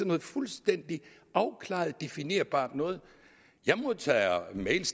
noget fuldstændig afklaret og definerbart noget jeg modtager mails